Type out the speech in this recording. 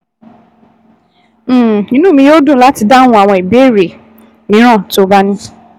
um Inú mi yóò dùn láti dáhùn àwọn ìbéèrè mìíràn tó o bá ní